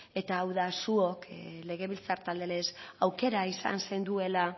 eta hau da zuok legebiltzar talde lez aukera izan zenduela